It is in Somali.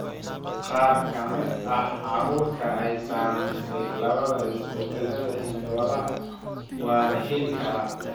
Qaar ka mid ah carruurta ay saamaysay, labadaba isbeddellada hidda-wadaha waa la heli karaa.